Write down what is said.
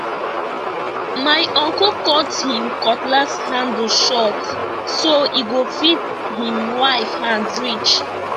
my uncle cut him cutlass handle short so e go fit him wife hand reach